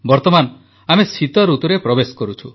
ବର୍ତ୍ତମାନ ଆମେ ଶୀତଋତୁରେ ପ୍ରବେଶ କରୁଛୁ